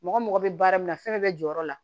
Mɔgɔ mago bɛ baara min na fɛn bɛɛ bɛ jɔyɔrɔ la